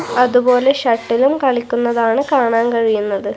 അതുപോലെ ഷട്ടിലും കളിക്കുന്നതാണ് കാണാൻ കഴിയുന്നത്.